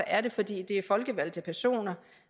er det fordi det er folkevalgte personer